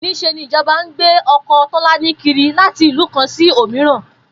Nís̩e ni ìjo̩ba ń gbé o̩ko̩ Tó̩lání kiri láti ìlú kan sí òmíran